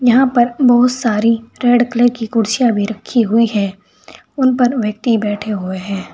यहां पर बहुत सारी रेड कलर की कुर्सियां भी रखी हुई है उन पर व्यक्ति बैठे हुए हैं।